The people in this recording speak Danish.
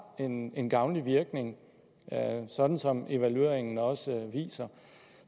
en en gavnlig virkning sådan som evalueringen også viser